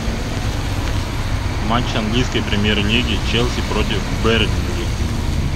матч английской премьер лиги челси против бернли